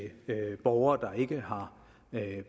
borgere der ikke har